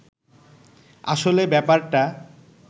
আসলে ব্যাপারটা